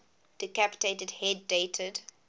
decapitated head dated